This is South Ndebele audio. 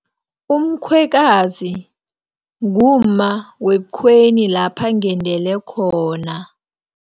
Umkhwekazi, ngumma webukhweni lapha ngendele khona.